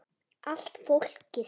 Allt fólkið.